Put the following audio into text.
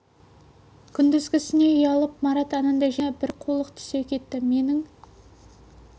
күндізгісінен ұялып марат анадай жерде томсырайып жақындай алмай тұр әбілдің ойына бір қулық түсе кетті менің